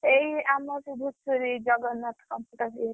ଏଇ ଆମ ସେ ଧୂସରି ଜଗନ୍ନାଥ computer ଇଏ ରେ।